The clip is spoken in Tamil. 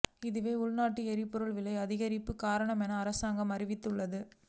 இதுவே உள்நாட்டில் எரிபொருள் விலை அதிகரிப்புக்கு காரணம் என அரசாங்கம் அறிவித்துள்ளது